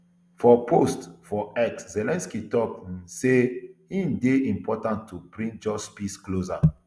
for post for x zelensky tok um say e dey important to bring just peace closer